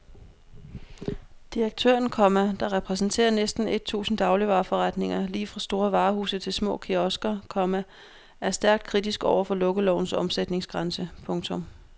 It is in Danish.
Direktøren, komma der repræsenterer næsten et tusind dagligvareforretninger lige fra store varehuse til små kiosker, komma er stærkt kritisk over for lukkelovens omsætningsgrænse. punktum